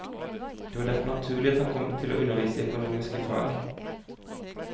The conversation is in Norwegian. Det var derfor naturlig at han kom til å undervise i økonomiske fag.